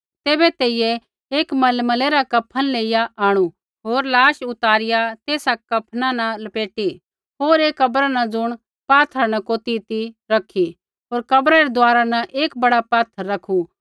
तैबै तेइयै एक मलमलै रा कफन लेइया आंणु होर लाश उतारिआ तेसा कफना न लपेटी होर एक कब्रा न ज़ुण पात्थरा न कोती ती रखी होर कब्रा रै दुआरा न एक बड़ा पात्थर रखु